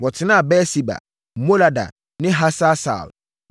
Wɔtenaa Beer-Seba, Molada ne Hasar-Sual,